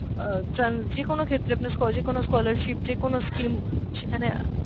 আহ ট্রান যেকোনো ক্ষেত্রে আপনার college কোনো scholarship, যেকোনো scheme সেখানে,